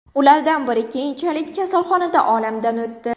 Ulardan biri keyinchalik kasalxonada olamdan o‘tdi.